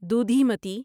دودھیمتی